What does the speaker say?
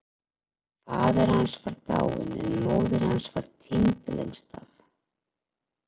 Faðir hans var dáinn en móðir hans var týnd lengst af.